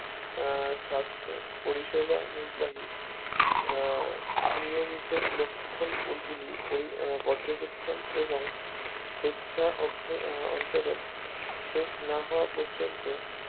আহ সাস্থ পরিষেবা নির্বাহী আহ নিয়মিত লক্ষণ গুলি পর্যবেক্ষণ এবং স্বেচ্ছা অন্তরণ শেষ না হওয়া পর্যন্তু